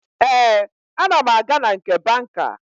Ee, ana m aga na nke banka